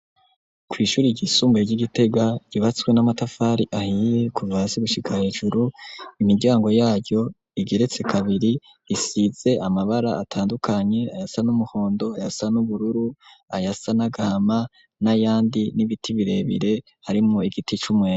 Kw'ishuri ryisumbuye ry'Igitega ryubatswe n'amatafari ahiye kuva hasi gushika hejuru, imiryango yaryo igeretse kabiri isize amabara atandukanye ayasa n'umuhondo, ayasa n'ubururu, ayasa n'agahama n'ayandi n'ibiti birebire harimwo igiti c'umwembe.